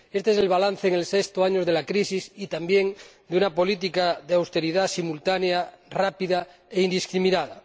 Este es el balance en el sexto año de la crisis y también de una política de auteridad simultánea, rápida e indiscriminada.